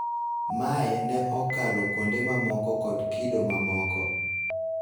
Mae ne okalo kuonde mamoko kod kido mamoko